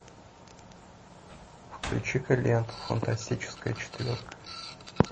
включи ка ленту фантастическая четверка